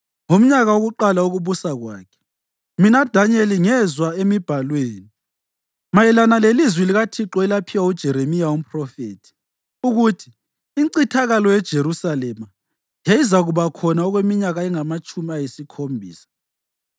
ngomnyaka wokuqala wokubusa kwakhe, mina Danyeli ngezwa emiBhalweni, mayelana lelizwi likaThixo elaphiwa uJeremiya umphrofethi, ukuthi incithakalo yeJerusalema yayizakuba khona okweminyaka engamatshumi ayisikhombisa.